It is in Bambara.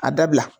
A dabila